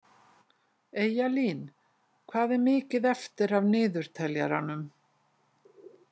Eyjalín, hvað er mikið eftir af niðurteljaranum?